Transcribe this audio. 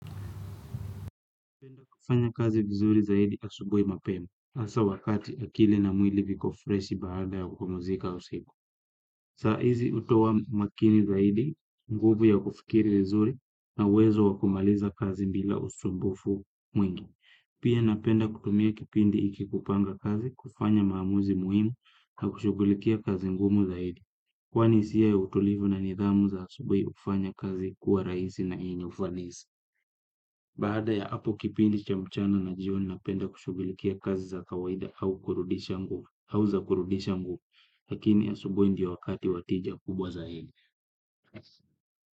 Napenda kufanya kazi vizuri zaidi asubuhi mapema, hasa wakati akili na mwili viko freshi baada ya kupumzika usiku. Saa hizi hutoa makini zaidi nguvu ya kufikiri vizuri na uwezo wa kumaliza kazi bila usumbufu mwingi. Pia napenda kutumia kipindi hiki kupanga kazi, kufanya maamuzi muhimu na kushughulikia kazi ngumu zaidi. Kwani hisia ya utulivu na nidhamu za asubuhi hufanya kazi kuwa rahisi na yenye ufanisi. Baada ya hapo kipindi cha mchana na jioni napenda kushughulikia kazi za kawaida au kurudisha nguvu au za kurudisha nguvu. Lakini asubuhi ndiyo wakati wa tija kubwa zaidi.